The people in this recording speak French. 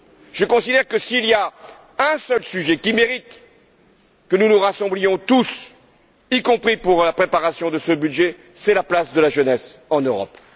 Je considère que, s'il y a un seul sujet qui mérite que nous nous rassemblions tous, y compris pour la préparation de ce budget, c'est la place de la jeunesse en Europe.